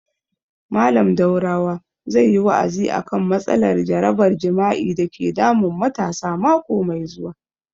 Mallam Daurawa zai yi wa'azi a kan matsalar jarabar jima'i dake damun matasa mako mai zuwa